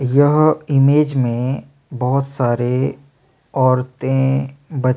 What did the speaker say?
यह इमेज में बहोत सारे औरतें बच्चे--